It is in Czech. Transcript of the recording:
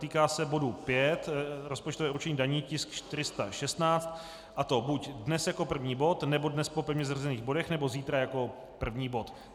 Týká se bodu 5, rozpočtové určení daní, tisk 416, a to buď dnes jako první bod nebo dnes po pevně zařazených bodech nebo zítra jako první bod.